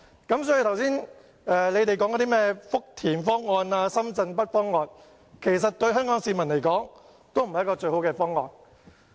因此，議員剛才提到的福田方案或深圳北方案，對香港市民而言都不是最好的方案。